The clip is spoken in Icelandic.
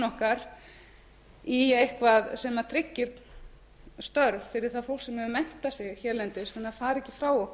okkar í eitthvað sem tryggir störf fyrir það fólk sem hefur menntað sig hérlendis en það fari ekki frá